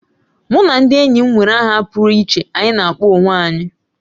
Mụ na ndị enyi m nwere aha pụrụ iche anyị na akpọ onwe anyị